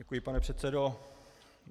Děkuji, pane předsedo.